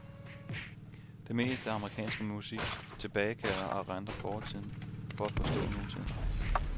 Det meste amerikanske musik tilbagekalder og erindrer fortiden for at forstå nutiden.